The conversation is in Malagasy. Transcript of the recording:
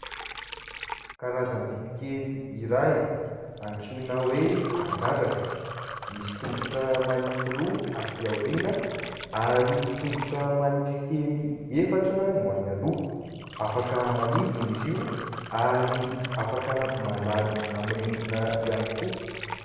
Karazam-biby kely iray antsoina hoe "Kadradraka", misy tongotra manify roa aty aoriana ary tongotra manify kely efatra no any aloha ; afaka manidina izy io ary afaka mandady amin'ny rindrina ihany koa.